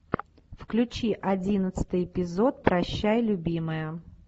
включи одиннадцатый эпизод прощай любимая